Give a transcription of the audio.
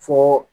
Fo